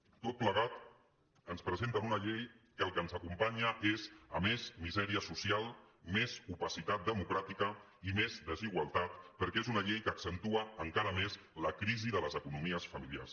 tot plegat ens presenten una llei que al que ens acompanya és a més misèria social més opacitat democràtica i més desigualtat perquè és una llei que accentua encara més la crisi de les economies familiars